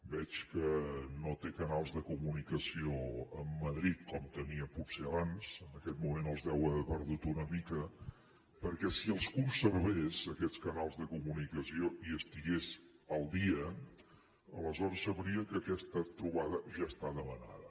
veig que no té canals de comunicació amb madrid com tenia potser abans en aquest moment els deu haver perdut una mica perquè si els conservés aquests canals de comunicació i estigués al dia aleshores sabria que aquesta trobada ja està demanada